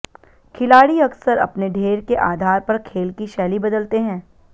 खिलाड़ी अक्सर अपने ढेर के आधार पर खेल की शैली बदलते हैं